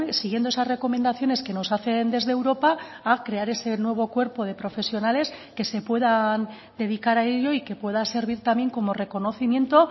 siguiendo esas recomendaciones que nos hacen desde europa a crear ese nuevo cuerpo de profesionales que se puedan dedicar a ello y que pueda servir también como reconocimiento